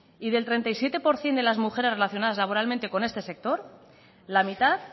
y del treinta y siete por ciento de las mujeres relacionadas laboralmente con este sector la mitad